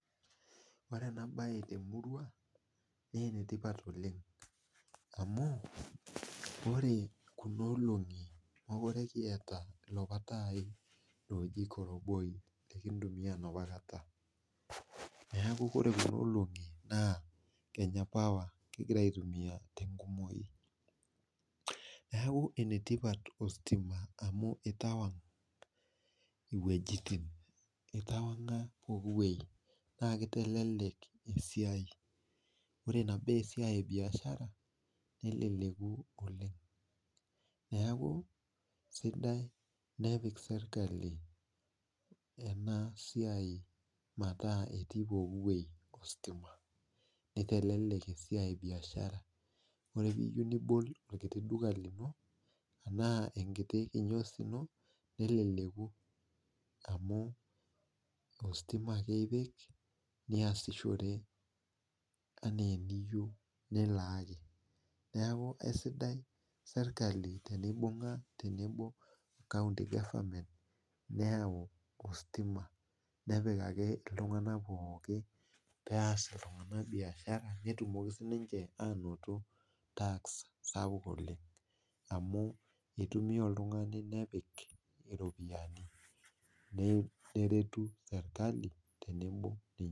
Ore enabae temurua na enetipat oleng amu orekuna olongi mekute kiata laapa tai oji koronboi lekintumia naapa olongi neaku ore kuna olingi na naipirta kenya power kingira aitumia tenkumoi neaku enetipat ositima amu italak iwuejitin itawan ga pookin wueji na kitalala esiai ore inabaa esiaia ebiashara neleleku oleng neaku kenare nepik serkli pooki weuji nitelelk esiai ebiashara ore piyieu nibol enkiti duka ino ashu enkiti biashara inoneleleku amu ositima ake ipik niasishore ana eniyieu nilaaku aisiadai serkali teneibungu o county government napikami ltunganak pooki peas ltunganak biashara petumoki sinche ainoto tax sapuk oleng amu itumia oltungani nepik iropiyiani neretu keon.